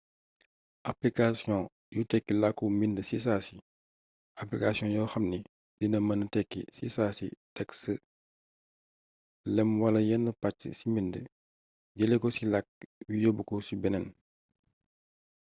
application yu tekki làkku mbind ci saasi application yoo xamni dina mëna tekki ci saasi texte lëmm wala yenn pàcc ci mbind jëlee ko ci làkk wii yóbbu ko ci beneen